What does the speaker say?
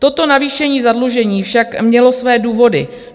Toto navýšení zadlužení však mělo své důvody.